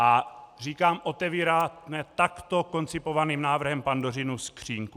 A říkám, otevíráme takto koncipovaným návrhem Pandořinu skříňku.